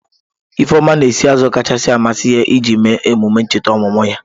Ifeoma na-esi azụ kacha amasị ya iji mee emume ncheta ọmụmụ ya.